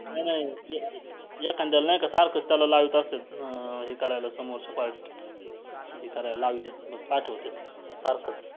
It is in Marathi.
एखांद्याला नाही का सारखंच त्याला लावत असत्यात अं हे करायला समोरच्या party हे करायला लावत्यात पाठवत्यात सारखं